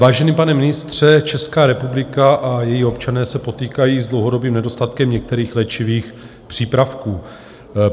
Vážený pane ministře, Česká republika a její občané se potýkají s dlouhodobým nedostatkem některých léčivých přípravků.